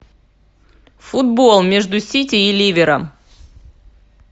футбол между сити и ливером